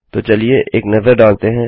तो चलिए एक नज़र डालते हैं